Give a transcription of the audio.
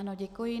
Ano, děkuji.